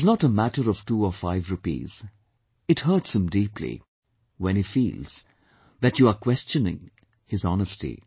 It is not a matter of two or five rupees, it hurts him deeply, when he feels that you are questioning his honesty